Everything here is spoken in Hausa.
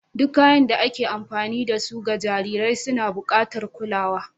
Duk kayan da ake amfani da su ga jarirai suna buƙatar kulawa.